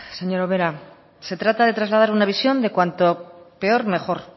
señora ubera se trata de trasladar una visión de cuanto peor mejor